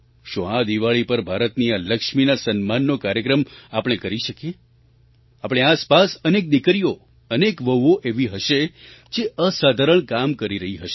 શું આ દિવાળી પર ભારતની આ લક્ષ્મીના સન્માનનો કાર્યક્રમ આપણે કરી શકીએ આપણી આસપાસ અનેક દીકરીઓ અનેક વહુઓ એવી હશે જે અસાધારણ કામ કરી રહી હશે